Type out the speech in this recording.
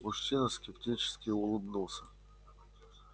мужчина скептически улыбнулся